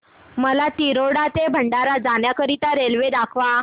मला तिरोडा ते भंडारा जाण्या करीता रेल्वे दाखवा